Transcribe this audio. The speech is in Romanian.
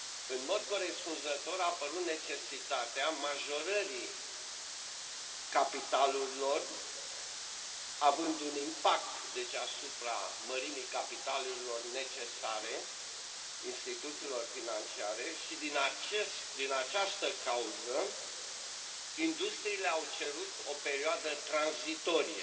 În mod corespunzător, a apărut necesitatea majorării capitalurilor, având un impact, deci, asupra mărimii capitalurilor necesare instituțiilor financiare și, din această cauză, industriile au cerut o perioadă tranzitorie.